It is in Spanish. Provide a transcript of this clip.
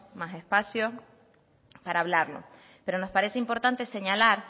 más espacio para hablarlo pero nos parece importante señalar